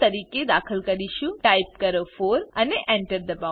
તરીકે દાખલ કરીશુંટાઈપ કરો 4 અને enter દબાઓ